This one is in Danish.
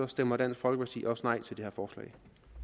stemmer dansk folkeparti også nej til det